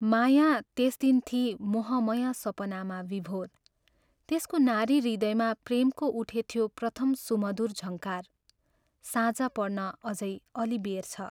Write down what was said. माया त्यस दिन थिई मोहमय सपनामा विभोर त्यसको नारी हृदयमा प्रेमको उठेथ्यो प्रथम सुमधुर झङ्कार साँझ पर्न अझै अल्लि बेर छ।